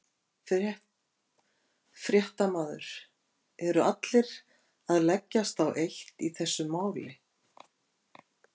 Fréttamaður: Eru allir að leggjast á eitt í þessu máli?